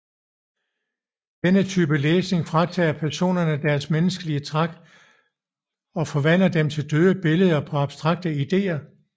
Denne type læsning fratager personerne deres menneskelige træk og forvandler dem til døde billeder på abstrakte idéer